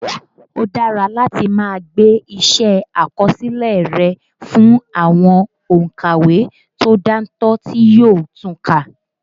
Ó dára láti máa gbé iṣẹ́ àkọsílẹ̀ rẹ fún àwọn òǹkàwé tó dáńtọ́ tí yóò tun kà